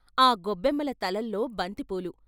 గొబ్బెమ్మల తలల్లో బంతిపూలు.